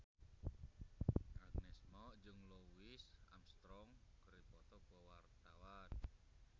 Agnes Mo jeung Louis Armstrong keur dipoto ku wartawan